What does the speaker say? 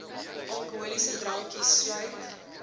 alkoholiese drankies sluit